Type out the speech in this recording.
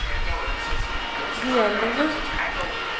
duellene